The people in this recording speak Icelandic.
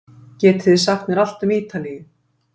Getið þið sagt mér allt um Ítalíu?